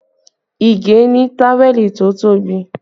Ige ni táwẹ̀lì tó tóbi